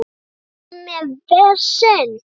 Ertu með vesen?